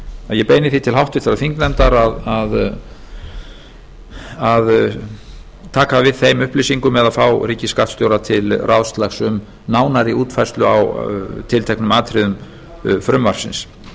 ég beini því til háttvirtrar þingnefndar að taka við þeim upplýsingum eða fá ríkisskattstjóra til ráðslags um nánari útfærslu á tilteknum atriðum frumvarpsins